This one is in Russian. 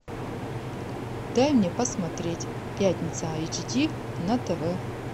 дай мне посмотреть пятница айч ди на тв